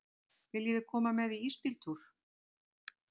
Viljiði koma með í ísbíltúr?